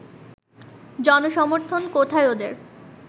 জনসমর্থন কোথায় ওদের